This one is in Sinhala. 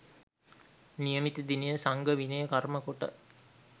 නියමිත දිනය සංඝ විනය කර්ම කොට